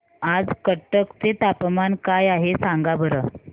आज कटक चे तापमान काय आहे सांगा बरं